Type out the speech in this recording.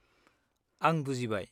-आं बुजिबाय।